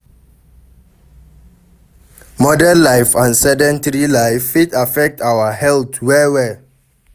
Modern life and sedentry life fit affect our health well well